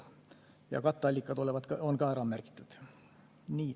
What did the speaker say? Ja katteallikad on ka ära märgitud.